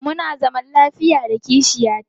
Muna zaman lafiya da kishiya ta.